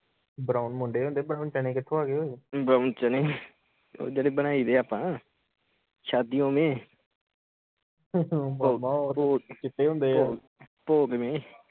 brown ਮੁੰਡੇ ਹੁੰਦੇ brown ਚਨੇ ਕਿਥੋਂ ਆਗੇ ਓਏ ਉਹ ਜਿਹੜੇ ਬਣਾਈ ਦੇ ਆਪਾ ਸ਼ਾਦਿਓ ਮੇਂ